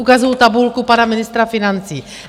Ukazuji tabulku pana ministra financí.